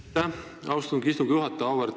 Aitäh, austatud istungi juhataja!